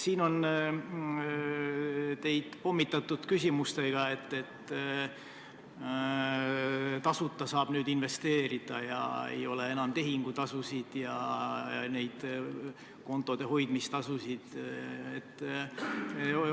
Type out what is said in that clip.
Teid on siin pommitatud küsimustega, et nüüd saab tasuta investeerida ja et enam ei ole tehingutasusid ega kontode hoidmistasusid.